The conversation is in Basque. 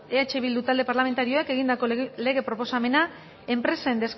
eh bildu talde parlamentarioak egindako lege proposamena enpresen